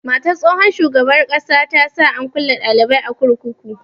Matar tsohon shugaban ƙasa ta sa an kulle dalibi a kurkuku.